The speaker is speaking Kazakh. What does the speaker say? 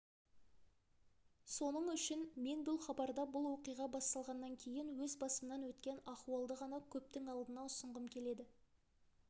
соның үшін мен бұл хабарда бұл оқиға басталғаннан кейін өз басымнан өткен ахуалды ғана көптің алдына ұсынғым келеді